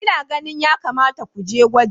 Ina ganin ya kamata ku je gwaji.